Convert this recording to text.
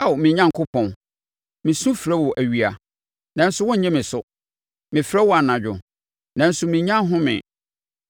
Ao me Onyankopɔn, mesu frɛ wo awia, nanso wonnye me so, mefrɛ wo anadwo, nanso mennya ɔhome.